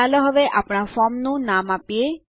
ચાલો હવે આપણા ફોર્મનું નામ આપીએ